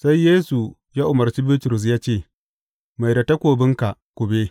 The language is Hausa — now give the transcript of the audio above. Sai Yesu ya umarce Bitrus ya ce, Mai da takobinka kube!